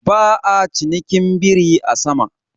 Ba'a cinikin biri a sama.